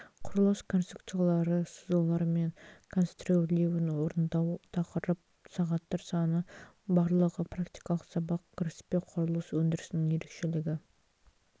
құрылыс конструкциялары сызулары мен конструирлеуін орындау тақырып сағаттар саны барлығы практикалық сабақ кіріспе құрылыс өндірісінің ерекшелігі